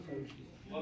Qardaş, şey yoxdur.